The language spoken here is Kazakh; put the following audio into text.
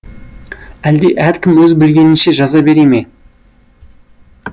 әлде әркім өз білгенінше жаза бере ме